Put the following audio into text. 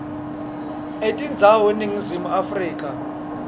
etindzawo eningizimu afrika